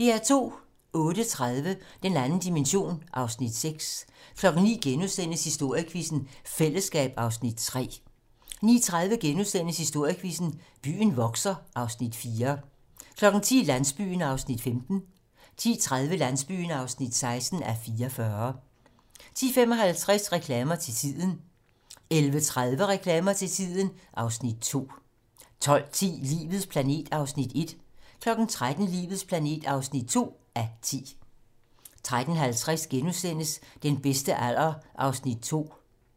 08:30: Den 2. dimension (Afs. 6) 09:00: Historiequizzen: Fællesskab (Afs. 3)* 09:30: Historiequizzen: Byen vokser (Afs. 4)* 10:00: Landsbyen (15:44) 10:30: Landsbyen (16:44) 10:55: Reklamer til tiden 11:30: Reklamer til tiden (Afs. 2) 12:10: Livets planet (1:10) 13:00: Livets planet (2:10) 13:50: Den bedste alder (2:4)*